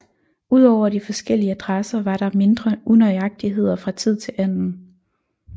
Udover de forskellige adresser var der mindre unøjagtigheder fra tid til anden